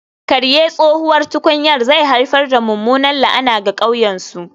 Karye tsohuwar tukunyar zai haifar da mummunar la'ana ga ƙauyen su